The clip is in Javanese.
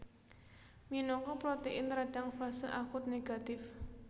Minangka protein radang fase akut négatif